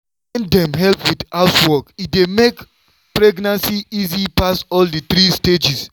wen dem help with housework e dey make pregnancy easy pass for all di three stages.